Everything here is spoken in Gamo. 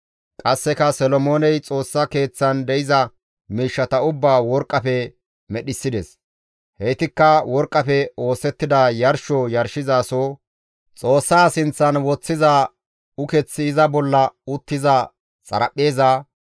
Qasseka Solomooney Xoossaa keeththan de7iza miishshata ubbaa worqqafe medhissides; heytikka worqqafe oosettida yarsho yarshizaso, Xoossaa sinththan woththiza ukeththi iza bolla uttiza xaraphpheeza,